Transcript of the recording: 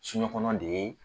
Soɲɛkɔnɔna de ye